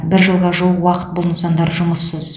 бір жылға жуық уақыт бұл нысандар жұмыссыз